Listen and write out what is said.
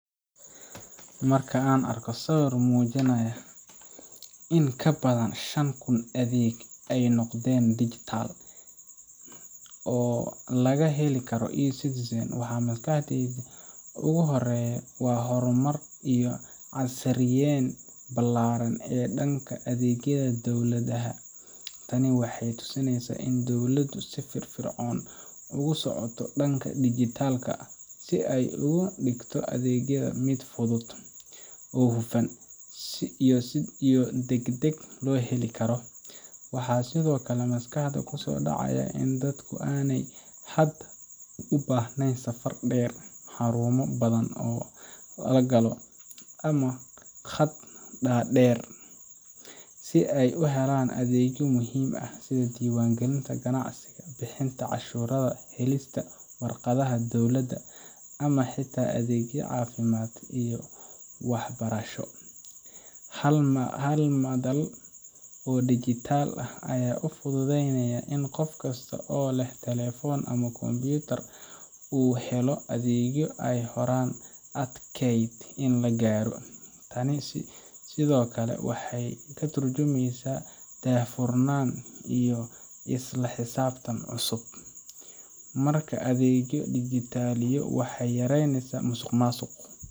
Markaan arko sawir muujinaya in in ka badan shan kun adeeg ay noqdeen digital oo laga heli karo eCitizen, waxa maskaxdayda ugu horreeya waa horumar iyo casriyeyn ballaaran oo dhanka adeegyada dawalada ah. Tani waxay tusinaysaa in dowladdu si firfircoon ugu socoto dhanka dijgita lka si ay uga dhigto adeegyada mid si fudud, hufan, iyo degdeg ah loo heli karo. Waxaa sidoo kale maskaxda ku soo dhacaya in dadku aanay hadda u baahnayn safar dheer, xarumo badan oo la galo, ama khadad dhaadheer si ay u helaan adeegyo muhiim ah sida diiwaangelinta ganacsiga, bixinta cashuuraha, helista warqadaha dowladda, ama xitaa adeegyada caafimaadka iyo waxbarashada. Hal madal oo dijgita ah ayaa u fududaynaysa in qof kasta oo leh telefoon ama kombiyuutar uu helo adeegyo ay horay adkeyd in la gaaro. Tani sidoo kale waxay ka tarjumaysaa daahfurnaan iyo isla xisaabtan cusub. Marka adeegyo la dijgita liyo, waxay yareynayaan musuqmaasuq